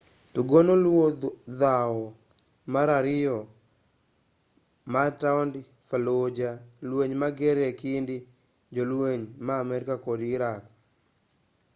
tugono luwo dhawo mar ariyo mar taond fallujah lueny mager ekind jolueny ma amerika kod iraqi